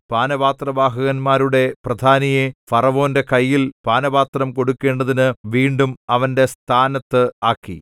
പാനപാത്രവാഹകന്മാരുടെ പ്രധാനിയെ ഫറവോന്റെ കയ്യിൽ പാനപാത്രം കൊടുക്കണ്ടതിനു വീണ്ടും അവന്റെ സ്ഥാനത്ത് ആക്കി